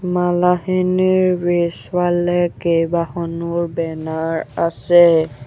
মালাখিনিৰ পিছফালে কেইবাখনো বেনাৰ আছে।